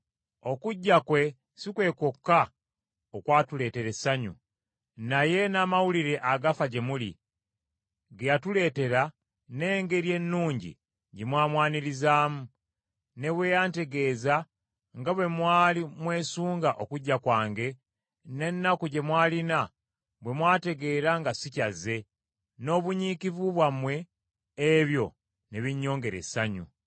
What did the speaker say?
Okujja kwe si kwe kwokka okwatuleetera essanyu, naye n’amawulire agafa gye muli, ge yatuleetera n’engeri ennungi gye mwamwanirizaamu, ne bwe yantegeeza nga bwe mwali mwesunga okujja kwange, n’ennaku gye mwalina bwe mwategeera nga sikyazze, n’obunyiikivu bwammwe, ebyo ne binnyongera essanyu!